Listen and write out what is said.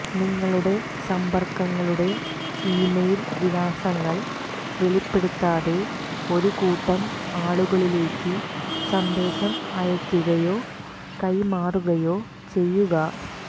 നിങ്ങളുടെ സമ്പർക്കങ്ങളുടെ ഇമെയിൽ വിലാസങ്ങൾ വെളിപ്പെടുത്താതെ ഒരു കൂട്ടം ആളുകളിലേക്ക് സന്ദേശം അയയ്ക്കുകയോ കൈമാറുകയോ ചെയ്യുക